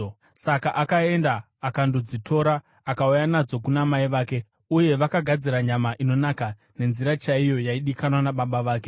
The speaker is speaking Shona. Saka akaenda akandodzitora akauya nadzo kuna mai vake, uye vakagadzira nyama inonaka, nenzira chaiyo yaidikanwa nababa vake.